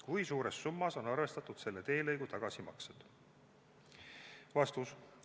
Kui suures summas on arvestatud selle teelõigu tagasimakseid?